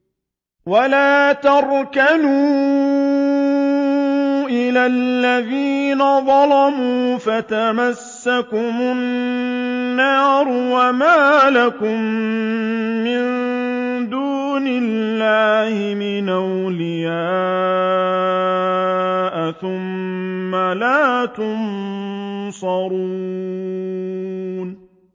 وَلَا تَرْكَنُوا إِلَى الَّذِينَ ظَلَمُوا فَتَمَسَّكُمُ النَّارُ وَمَا لَكُم مِّن دُونِ اللَّهِ مِنْ أَوْلِيَاءَ ثُمَّ لَا تُنصَرُونَ